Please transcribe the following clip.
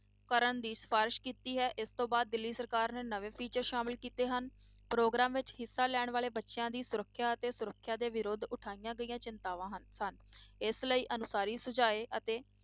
ਕਰਨ ਦੀ ਸਿਫ਼ਾਰਿਸ਼ ਕੀਤੀ ਹੈ, ਇਸ ਤੋਂ ਬਾਅਦ ਦਿੱਲੀ ਸਰਕਾਰ ਨੇ ਨਵੇਂ teacher ਸ਼ਾਮਲ ਕੀਤੇ ਹਨ, ਪ੍ਰੋਗਰਾਮ ਵਿੱਚ ਹਿੱਸਾ ਲੈਣ ਵਾਲੇ ਬੱਚਿਆਂ ਦੀ ਸੁਰੱਖਿਆ ਅਤੇ ਸੁਰੱਖਿਆ ਦੇ ਵਿਰੁੱਧ ਉਠਾਈਆਂ ਗਈਆਂ ਚਿੰਤਾਵਾਂ ਹਨ ਸਨ, ਇਸ ਲਈ ਅਨੁਸਾਰੀ ਸੁਝਾਏ ਅਤੇ